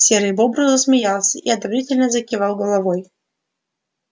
серый бобр засмеялся и одобрительно закивал головой